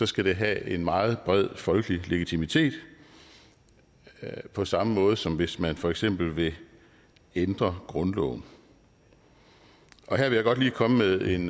skal det have en meget bred folkelig legitimitet på samme måde som hvis man for eksempel vil ændre grundloven her vil jeg godt lige komme med en